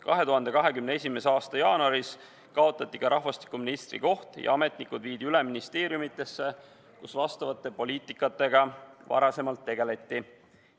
2021. aasta jaanuaris kaotati rahvastikuministri koht ja ametnikud viidi üle ministeeriumidesse, kus nende poliitikatega varem tegeleti.